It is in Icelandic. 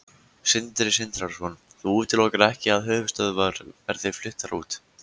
Sindri Sindrason: Þú útilokar ekki að höfuðstöðvar verði fluttar út?